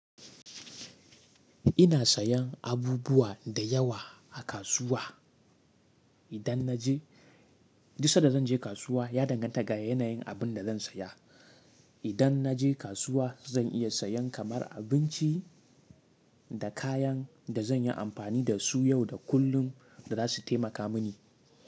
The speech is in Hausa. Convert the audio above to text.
Ina sayan abubuwa da yawa a kasuwa, idan na je, duk sanda zan je kasuwa ya danganta ga yanayin abin da zan saya. Idan na je kasuwa, zan iya sayan kamar abinci. Da kayan, da zan yi amfani da su yau da kullum, da za su taimaka mini.